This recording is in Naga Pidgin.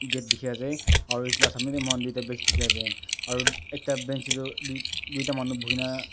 gate dekhi ase aru etu laga samne te manu dekhi ase aru ekta bench te tu duita manu bohe kina--